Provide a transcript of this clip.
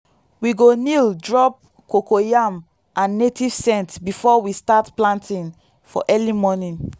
we go kneel drop coco yam and native scent before we start planting for early morning.